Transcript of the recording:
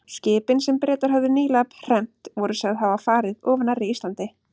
Skipin, sem Bretar höfðu nýlega hremmt, voru sögð hafa farið of nærri Íslandi.